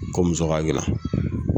Ko muso